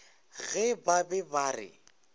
ge ba be ba re